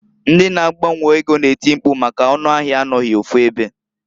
Ndi na -agbanwe ego na-eti mpku maka n'ọnụ ahịa anọghị ofu ebe.